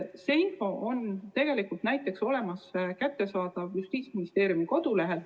See info on kättesaadav näiteks Justiitsministeeriumi kodulehel.